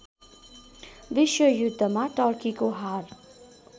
विश्वयुद्धमा टर्कीको हार